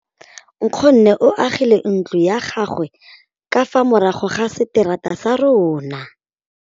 Nkgonne o agile ntlo ya gagwe ka fa morago ga seterata sa rona.